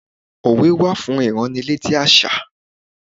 Òwe wà fún ìránnilétí àṣà.